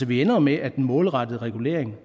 vi ender jo med at den målrettede regulering